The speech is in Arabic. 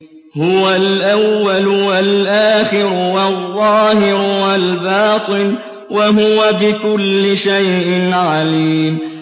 هُوَ الْأَوَّلُ وَالْآخِرُ وَالظَّاهِرُ وَالْبَاطِنُ ۖ وَهُوَ بِكُلِّ شَيْءٍ عَلِيمٌ